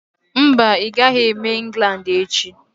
Mba, ị gaghị eme England echi.